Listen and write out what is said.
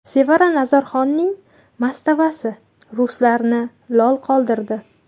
Sevara Nazarxonning mastavasi ruslarni lol qoldirdi.